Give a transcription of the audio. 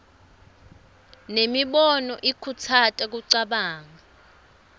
nemibono ikhutsata kucabanga